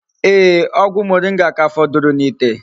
Ee, ogwu moringa ka foduru n'ite